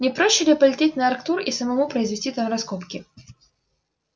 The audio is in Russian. не проще ли полететь на арктур и самому произвести там раскопки